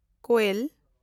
ᱠᱳᱭᱮᱞ